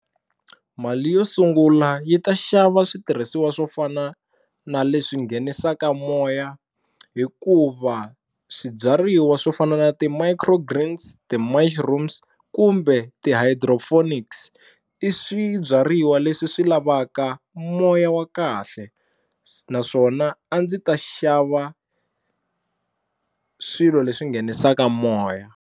Mali yo sungula yi ta xava switirhisiwa swo fana na leswi nghenisaka moya hikuva swibyariwa swo fana na ti-micro greens, ti-mushrooms kumbe ka ti-hydroponics i swibyariwa leswi swi lavaka moya wa kahle naswona a ndzi ta xava swilo leswi nghenisaka moya.